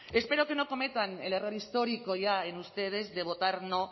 espero que no cometan el error histórico ya en ustedes de votar no